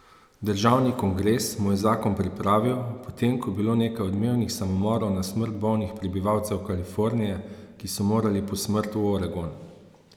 Državni kongres mu je zakon pripravil, potem ko je bilo nekaj odmevnih samomorov na smrt bolnih prebivalcev Kalifornije, ki so morali po smrt v Oregon.